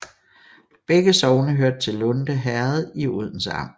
Begge sogne hørte til Lunde Herred i Odense Amt